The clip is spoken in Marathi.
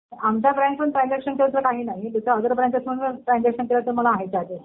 आमच्या ब्रॅन्चहून ट्रान्झेकशन केलं तर काही नाही. जर अदर ब्रँचमधून ट्रान्झेकशन केलं तर तर मग आहेत चार्जेस.